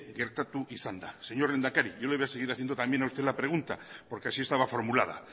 gertatu izan da señor lehendakari yo le voy a seguir haciendo también a usted la pregunta porque así estaba formulada